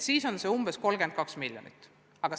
See summa oleks 32 miljoni ringis.